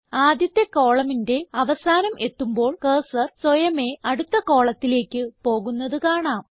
ആദ്യത്തെ columnന്റെ അവസാനം എത്തുമ്പോൾ കർസർ സ്വയമേ അടുത്ത കോളത്തിലേക്ക് പോകുന്നത് കാണാം